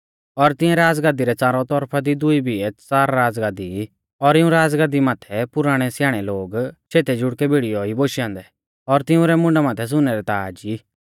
और तिऐं राज़गाद्दी रै च़ारौ तौरफा दी दुई बिऐ च़ार राज़गाद्दी ई और इऊं राज़गद्दी माथै पुराणै स्याणै लोग शेतै जुड़कै भिड़ीयौ ई बोशै औन्दै और तिऊं रै मुंडा माथै सुनै रै ताज़ ई